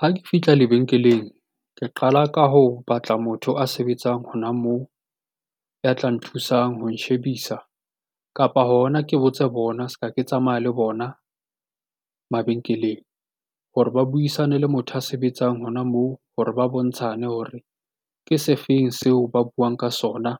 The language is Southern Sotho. Ha ke fihla lebenkeleng, ke qala ka ho batla a sebetsang bona moo, ya tlang ho nthusang ho nshebisa, kapa hona ke botse bona ska ke tsamaya ke bona mabenkeleng, hore ba buisane le motho a sebetsang hona moo hore ba bontshane hore, ke se feng seo ba buang ka sona